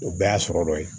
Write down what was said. O bɛɛ y'a sɔrɔ dɔ ye